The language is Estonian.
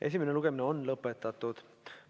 Esimene lugemine on lõpetatud.